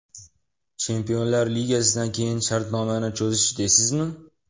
Chempionlar ligasidan keyin shartnomani cho‘zish deysizmi?